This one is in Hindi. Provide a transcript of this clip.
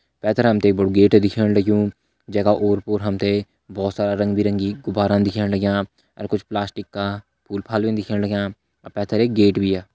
पैथर हमते एक बड़ो गेट दिखेण लग्युं जैका ओर पोर हमते भोत सारा रंगबिरंगी गुब्बारा दिखेण लगयां अर कुछ प्लास्टिक का फूल फाल भी दिखेण लगयां अर पैथर एक गेट भी।